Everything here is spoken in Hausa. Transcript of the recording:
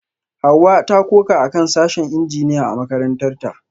Hawa ta koka akan sashen Injiniya a makarantarta